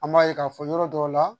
An b'a ye k'a fɔ yɔrɔ dɔw la